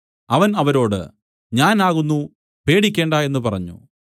അവൻ അവരോട് ഞാൻ ആകുന്നു പേടിക്കേണ്ടാ എന്നു പറഞ്ഞു